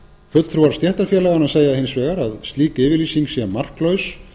fulltrúar stéttarfélaganna segja hins vegar að slík yfirlýsing sé marklaus